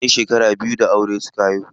Bayan shekara biyu da aure suka haihu.